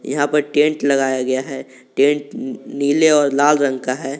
यहां पर टेंट लगाया गया है टेंट नीले और लाल रंग का है।